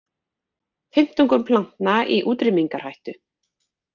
Fimmtungur plantna í útrýmingarhættu